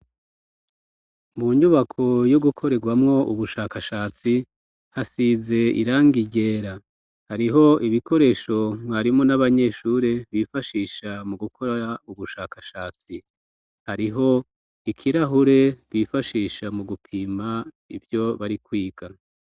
Mu nyubako yo gukorerwamwo ubushakashatsi hasize iranga iryera hariho ibikoresho mwarimo n'abanyeshure bifashisha mu gukora ubushakashatsi hariho ikirahure bifashisha mu gupima ivyo bari kwigana.